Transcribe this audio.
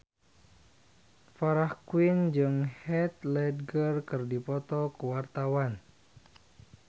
Farah Quinn jeung Heath Ledger keur dipoto ku wartawan